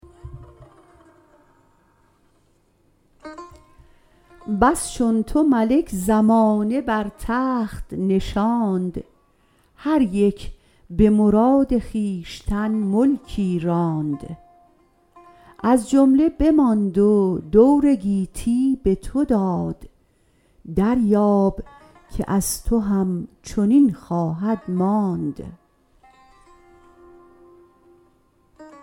بس چون تو ملک زمانه بر تخت نشاند هر یک به مراد خویشتن ملکی راند از جمله بماند و دور گیتی به تو داد دریاب که از تو هم چنین خواهد ماند